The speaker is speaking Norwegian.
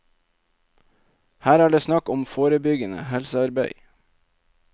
Her er det snakk om forebyggende helsearbeid.